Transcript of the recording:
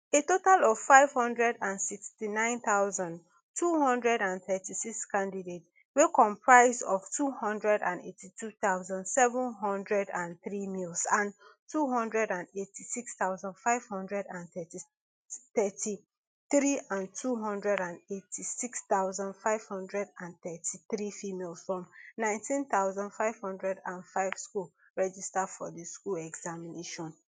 a total of five hundred and sixty-nine thousand, two hundred and thirty-six candidate wey comprise of two hundred and eighty-two thousand, seven hundred and three males and two hundred and eighty-six thousand, five hundred and thirty-three and two hundred and eighty-six thousand, five hundred and thirty-three females from nineteen thousand, five hundred and five schools register for di school examination